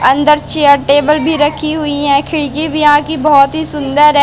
अंदर chair table भी रखी हुई है। खिड़की भी यहां की बहोत ही सुंदर है।